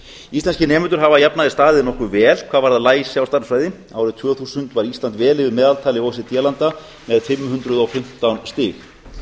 íslenskir nemendur hafa að jafnaði staðið nokkuð vel hvað varðar læsi á stærðfræði árið tvö þúsund var ísland vel yfir meðaltali o e c d landa með fimm hundruð og fimmtán stig